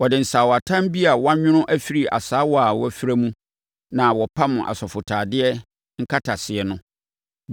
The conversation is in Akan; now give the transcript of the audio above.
Wɔde asaawatam bi a wɔanwono afiri asaawa a wɔafira mu na wɔpam asɔfotadeɛ nkataseɛ no.